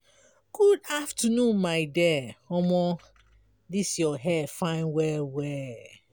good afternoon my dear omo dis your hair fine well-well.